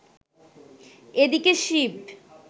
এদিকে শিব